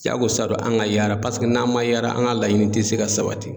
Jagosa don an ka yaara paseke n'an ma yaara an ka laɲini tɛ se ka sabati.